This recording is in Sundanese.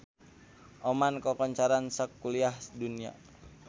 Oman kakoncara sakuliah dunya